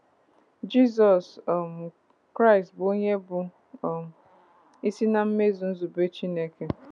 Jizọs um Kraịst bụ onye bụ́ um isi na mmezu nzube Chineke.